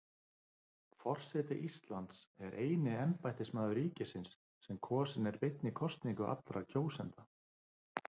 Forseti Íslands er eini embættismaður ríkisins sem kosinn er beinni kosningu allra kjósenda.